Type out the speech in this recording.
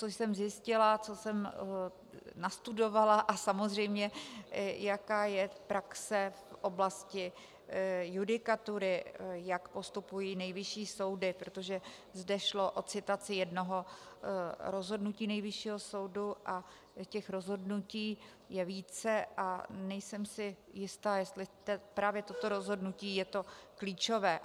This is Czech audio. Co jsem zjistila, co jsem nastudovala a samozřejmě jaká je praxe v oblasti judikatury, jak postupují nejvyšší soudy, protože zde šlo o citaci jednoho rozhodnutí Nejvyššího soudu, a těch rozhodnutí je více a nejsem si jista, jestli právě toto rozhodnutí je to klíčové.